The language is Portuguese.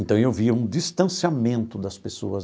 Então eu via um distanciamento das pessoas.